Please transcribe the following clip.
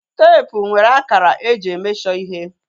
Teepu nwere akara eji e mesho ihe